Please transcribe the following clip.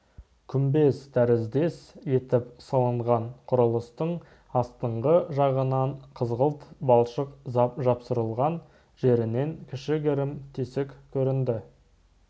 күмбез тәріздес етіп салынған құрылыстың астыңғы жағынан қызғылт балшық жапсырылған жерінен кішігірім тесік көрінді